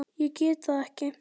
Ég get það ekki